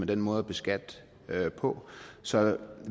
den måde at beskatte på så